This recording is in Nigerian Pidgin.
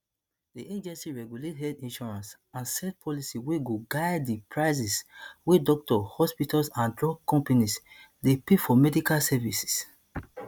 di agency regulate health insurance and set policy wey go guide di prices wey doctors hospitals and drug companies dey pay for medical services